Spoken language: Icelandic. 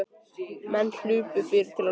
Menn hlupu fyrir til að loka.